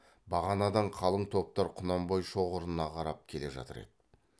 бағанадан қалың топтар құнанбай шоғырына қарап келе жатыр еді